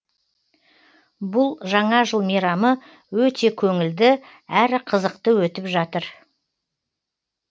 бұл жаңа жыл мейрамы өте көңілді әрі қызықты өтіп жатыр